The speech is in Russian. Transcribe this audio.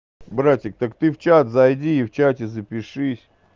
братик так ты в чат зайди и в чате запишись